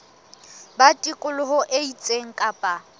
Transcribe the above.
ba tikoloho e itseng kapa